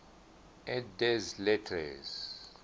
et des lettres